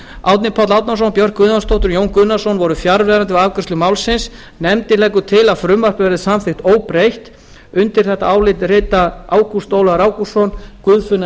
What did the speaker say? árni páll árnason björk guðjónsdóttir og jón gunnarsson voru fjarverandi við afgreiðslu málsins nefndin leggur til að frumvarpið verði samþykkt óbreytt undir þetta álit rita ágúst ólafur ágústsson guðfinna